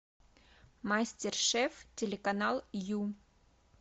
мастер шеф телеканал ю